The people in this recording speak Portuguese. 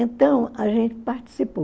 Então, a gente participou.